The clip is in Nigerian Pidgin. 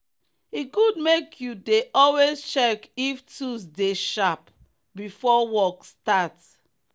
e good make you dey always check if tools dey sharp before work start.